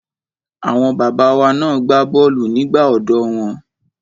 Àwọn bàbá wa na gbá bọ́ọ̀lù nígbà ọ̀dọ́ wọn.